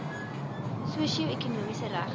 sosio ekonomiese regte